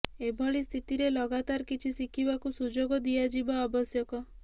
ଏଭଳି ସ୍ଥିତିରେ ଲଗାତର କିଛି ଶିଖିବାକୁ ସୁଯୋଗ ଦିଆଯିବ ଆବଶ୍ୟକ